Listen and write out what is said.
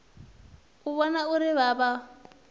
u vhona uri vha vha